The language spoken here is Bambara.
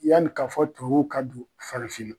Yani k'a fɔ tuwawuw ka don farafinna